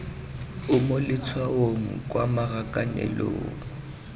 o mo letshwaong kwa marakanelong